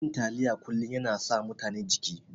Cin taliya kullun yana sa mutane jiki.